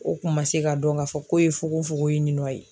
O kun man se ka dɔn k'a fɔ k'o ye fokofoko in nɔ ye.